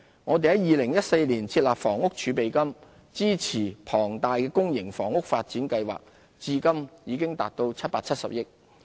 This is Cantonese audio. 我們在2014年設立房屋儲備金，支持龐大的公營房屋發展計劃，至今已達770億元。